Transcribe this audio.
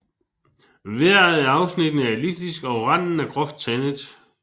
Hver af afsnittene er elliptisk og randen er groft tandet